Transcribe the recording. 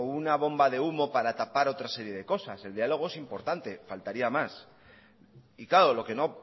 una bomba de humo para tapar otras series de cosas el diálogo es importante faltaría más y claro lo que no